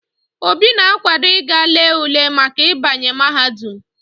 Obi na akwado íga lee ule Maka ibanye mahadum